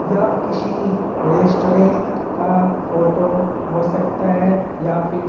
यह किसी रेस्टोरेंट का फोटो हो सकता है या फिर --